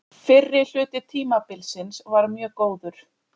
Fyrri hluti tímabilsins var mjög góður.